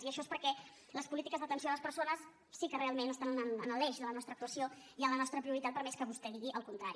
i això és perquè les polítiques d’atenció a les persones sí que realment estan en l’eix de la nostra actuació i en la nostra prioritat per més que vostè digui el contrari